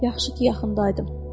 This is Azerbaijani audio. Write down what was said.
Yaxşı ki, yaxın daydım.